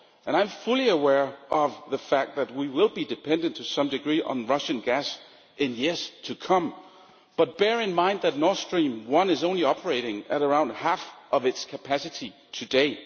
I am fully aware of the fact that we will be dependent, to some degree, on Russian gas in years to come, but bear in mind that Nord Stream 1 is operating at around only half of its capacity today.